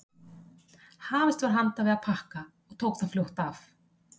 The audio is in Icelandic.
Hafist var handa við að pakka og tók það fljótt af.